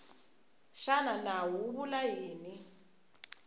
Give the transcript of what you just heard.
xana nawu wu vula yini